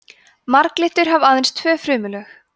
marglyttur hafa aðeins tvö frumulög